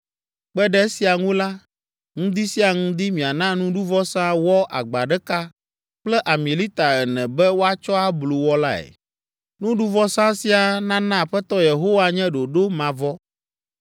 Kpe ɖe esia ŋu la, ŋdi sia ŋdi miana nuɖuvɔsa wɔ agba ɖeka kple ami lita ene be woatsɔ ablu wɔ lae. Nuɖuvɔsa sia nana Aƒetɔ Yehowa nye ɖoɖo mavɔ.